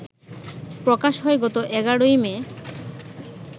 প্রকাশ হয় গত এগারোই মে